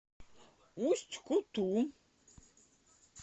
усть куту